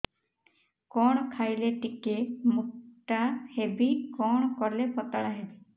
କଣ ଖାଇଲେ ଟିକେ ମୁଟା ହେବି କଣ କଲେ ପତଳା ହେବି